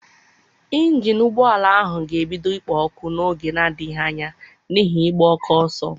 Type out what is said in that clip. ịnjin ụgbọ ala ahụ ga-ebido ikpo ọkụ n'oge na-adịghị anya n'ihi ịgba oke ọsọ gị.